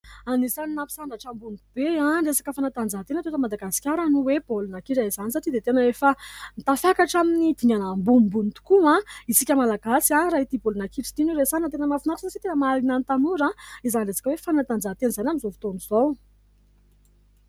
Anisan'ny nampisandratra ambony be ny resaka fanatanjahantena teto Madagasikara no hoe baolina kitra izany satria dia tena efa tafakatra amin'ny dingana ambonimbony tokoa isika malagasy raha ity baolina kitra ity no resahana. Tena mahafinaritra satria tena mahaliana ny tanora izany resaka hoe fanatanjahantena izany amin'izao fotoan'izao.